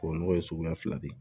O nɔgɔ ye suguya fila de ye